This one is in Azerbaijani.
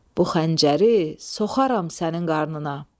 Bu xəncəri soxaram sənin qarnına.